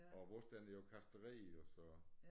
Og vores den er jo kastreret også